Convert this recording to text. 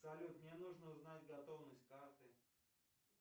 салют мне нужно узнать готовность карты